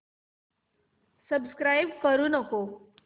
subscribe करू नको